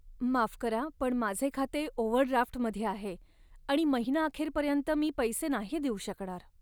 माफ करा, पण माझे खाते ओव्हरड्राफ्टमध्ये आहे आणि महिना अखेरपर्यंत मी पैसे नाही देऊ शकणार.